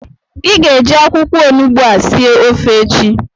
ị ga-eji akwụkwọ onugbu a sie ofe echi!